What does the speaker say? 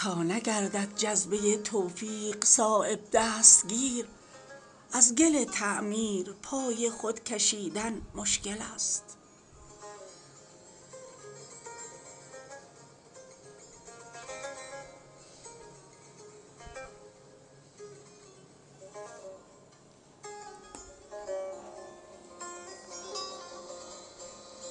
منزل نقل مکان ماست اوج لامکان آسمانها را به گرد ما رسیدن مشکل است چون سلیمان را نباشد رشک بر احوال مور بار عالم را به دوش خود کشیدن مشکل است می توان راز دهان یار را تفسیر کرد در نزاکت های فکر ما رسیدن مشکل است تا نگردد جذبه توفیق صایب دستگیر از گل تعمیر پای خود کشیدن مشکل است